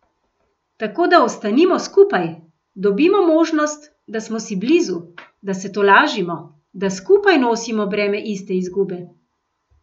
Tako da ostanimo skupaj, dobimo možnost, da smo si blizu, da se tolažimo, da skupaj nosimo breme iste izgube.